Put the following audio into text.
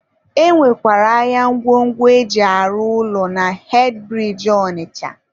e nwekwara ahịa ngwongwo e ji arụ ụlọ na hedịbiriji Ọnịcha..